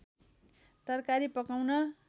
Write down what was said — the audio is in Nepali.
तरकारी पकाउन